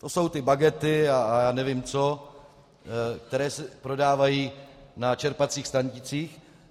To jsou ty bagety a já nevím co, které se prodávají na čerpacích stanicích.